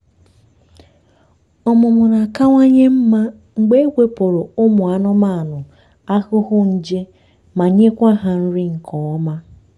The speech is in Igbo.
ọmụmụ na-akawanye mma mgbe ewepụlụ ụmụ anụmanụ ahụhụ nje ma nyekwa ha nri nke ọma.